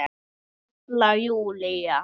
Halla Júlía.